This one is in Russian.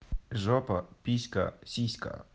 жопа писька сиська